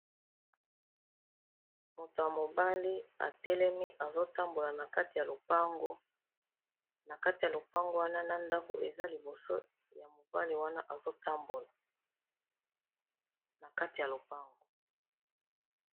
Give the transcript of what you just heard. Moto ya mobali atelemi azotambola na kati ya lopango na kati ya lopango wana na ndako eza liboso ya mobali wana azotambola na kati ya lopango